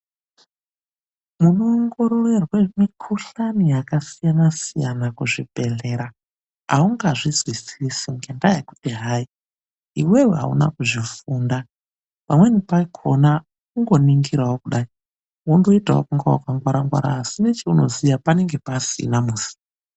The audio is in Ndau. Munoongororwe mikuhlani yakasiyana siyana muzvibhehlera. Haungazizwisisi ngendaya yekuti hayi, iwewe hauna kuzvifunda. Pamweni pakona kungoyi ningirawo kuda wondoitawo sewakangwara-ngwara kudaii asi, nechaunoziya panenge pasina mosi.